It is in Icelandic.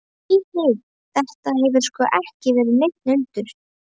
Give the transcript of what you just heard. Nei, nei, þetta hefur sko ekki verið neinn hundur.